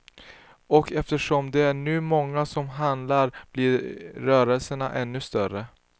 Och eftersom det nu är många som handlar blir rörelserna ännu större.